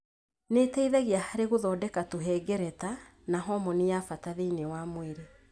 Nĩ ĩteithagia harĩ gũthondeka tũhengereta na homoni ya bata thĩinĩ wa mwĩrĩ.